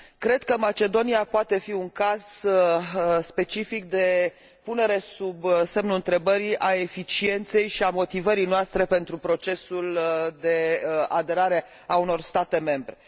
Cred că Macedonia poate fi un caz specific de punere sub semnul întrebării a eficienței și a motivării noastre pentru procesul de aderare a unor state membre.